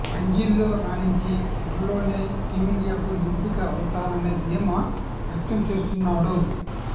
రంజీల్లో రాణించి త్వరలోనే టీమిండియాకు ఎంపిక అవుతాననే ధీమా వ్యక్తం చేస్తున్నాడు